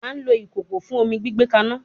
A lo ikoko fun omi gbigbe kana